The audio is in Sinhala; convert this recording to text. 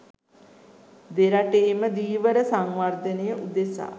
දෙරටේම ධීවර සංවර්ධනය උදෙසා